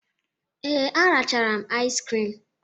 Ee, a rachara m iz krim.